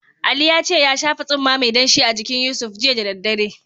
Ali ya ce ya shafa tsumma mai danshi a jinkin Yusuf, jiya da daddare.